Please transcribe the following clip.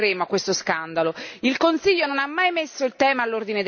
Con ogni mezzo ci siamo opposte e ci opporremo a questo scandalo.